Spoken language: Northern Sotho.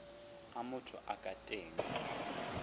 a motho a ka teng